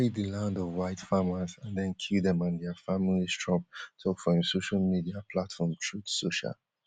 dem dey take di land of white farmers and den kill dem and dia familiestrump tok for im social media platform truth social